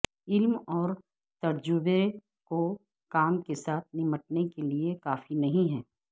علم اور تجربے کو کام کے ساتھ نمٹنے کے لئے کافی نہیں ہے